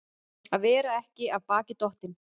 Að vera ekki af baki dottinn